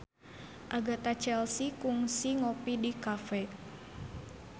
Agatha Chelsea kungsi ngopi di cafe